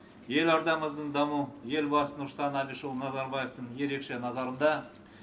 елордамыздың дамуы елбасы нұрсұлтан әбішұлы назарбаевтың ерекше назарында